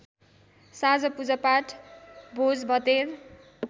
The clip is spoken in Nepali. साँझ पूजापाठ भोजभतेर